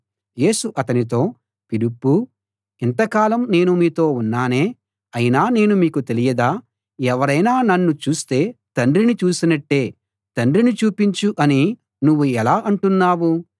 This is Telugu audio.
యేసు అతనితో ఫిలిప్పూ ఇంత కాలం నేను మీతో ఉన్నానే అయినా నేను నీకు తెలియదా ఎవరైనా నన్ను చూస్తే తండ్రిని చూసినట్టే తండ్రిని చూపించు అని నువ్వు ఎలా అంటున్నావు